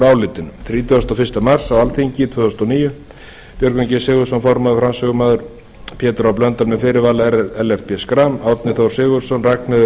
álitinu alþingi þrítugasta og fyrsta mars tvö þúsund og níu björgvin g sigurðsson formaður frá pétur h blöndal með fyrirvara ellert b schram árni þór sigurðsson ragnheiður